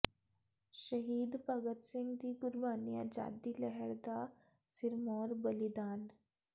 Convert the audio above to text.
ਸ਼ਹੀਦ ਭਗਤ ਸਿੰਘ ਦੀ ਕੁਰਬਾਨੀ ਆਜ਼ਾਦੀ ਲਹਿਰ ਦਾ ਸਿਰਮੌਰ ਬਲੀਦਾਨ